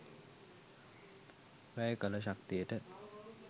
වැය කළ ශක්තියට